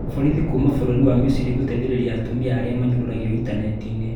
Borithi kuuma bũrũri wa Misiri gũteithĩrĩria atumia arĩa manyũrũragwo intaneti-inĩ